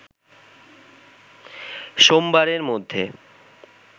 সোমবারের মধ্যে